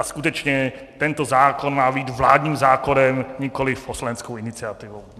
A skutečně tento zákon má být vládním zákonem, nikoliv poslaneckou iniciativou.